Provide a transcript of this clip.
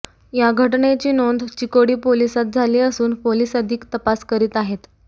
या घटनेची नोंद चिकोडी पोलीसात झाली असून पोलीस अधिक तपास करीत आहेत